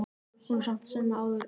Hún er samt sem áður ágæt.